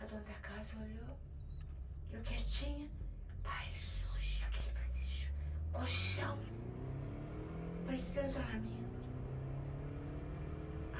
A dona da casa olhou, e eu quietinha, baile sujo, colchão, parecia um isolamento.